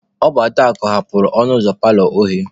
Ọ bụ Adaakụ ghebelu ọnụ ụzọ paalọ oghe.